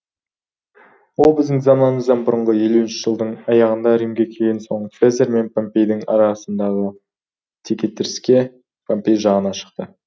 ол біздің заманымыздан бұрынғы елуінші жылдың аяғында римге келген соң цезарь мен помпейдің арасындағы текетіресте помпей жағына шықты